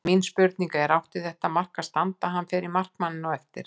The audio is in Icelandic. Mín spurning er: Átti þetta mark að standa, hann fer í markmanninn eftir á?